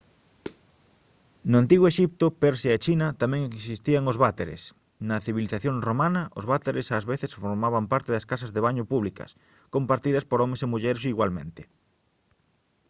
no antigo exipto persia e china tamén existían os váteres na civilización romana os váteres ás veces formaban parte das casas de baño públicas compartidas por homes e mulleres igualmente